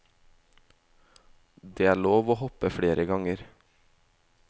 Det er lov å hoppe flere ganger.